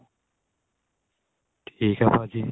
ਠੀਕ ਏ ਭਾਜੀ